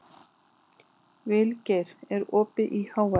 Vilgeir, er opið í HR?